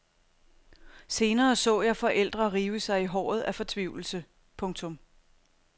Senere så jeg forældre rive sig i håret af fortvivlelse. punktum